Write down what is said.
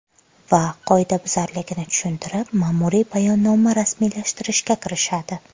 Va qoidabuzarligini tushuntirib, ma’muriy bayonnoma rasmiylashtirishga kirishadi.